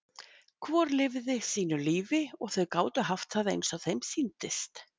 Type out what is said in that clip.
Hvort lifði sínu lífi og þau gátu haft það eins og þeim sýndist.